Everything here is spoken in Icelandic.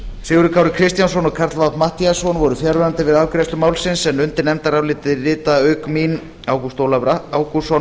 sigurður kári kristjánsson og karl fimmti matthíasson voru fjarverandi við afgreiðslu málsins undir nefndaráliti rita auk mín ágúst ólafur ágústsson